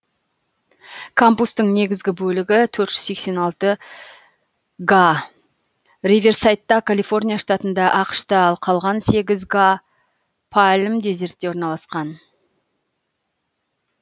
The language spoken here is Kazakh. кампустың негізгі бөлігі төрт жүз сексен алты га риверсайдта калифорния штатында ақш та ал қалған сегіз га палм дезертте орналасқан